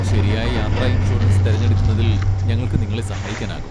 ശരിയായ യാത്രാ ഇൻഷുറൻസ് തിരഞ്ഞെടുക്കുന്നതിൽ ഞങ്ങൾക്ക് നിങ്ങളെ സഹായിക്കാനാകും.